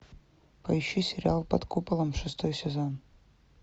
поищи сериал под куполом шестой сезон